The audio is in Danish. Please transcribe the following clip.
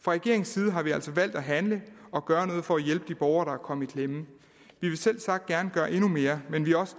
fra regeringens side har vi altså valgt at handle og gøre noget for at hjælpe de borgere der er kommet i klemme vi vil selvsagt gerne gøre endnu mere men vi er også